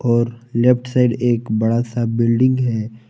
और left side एक बड़ा सा बिल्डिंग है।